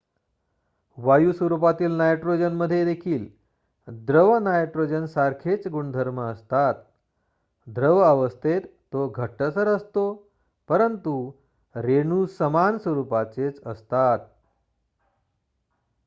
वायू स्वरूपातील नायट्रोजनमध्ये देखील द्रव नायट्रोजनसारखेच गुणधर्म असतात द्रव अवस्थेत तो घट्टसर असतो परंतु रेणू समान स्वरूपाचेच असतात